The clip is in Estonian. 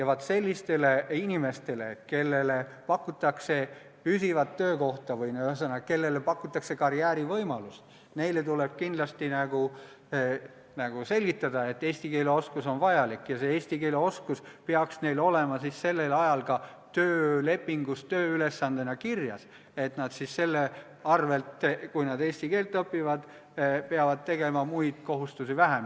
Vaat sellistele inimestele, kellele pakutakse püsivat töökohta või karjäärivõimalust, tuleb kindlasti selgitada, et eesti keele oskus on vajalik ja see oskus peaks neil olema ka töölepingus tööülesandena kirjas, et nad siis selle arvel, mis nad eesti keelt õpivad, peavad muid kohustusi täitma vähem.